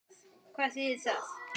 Hvað þýðir það?